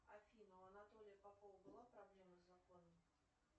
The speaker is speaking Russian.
афина у анатолия попова была проблема с законом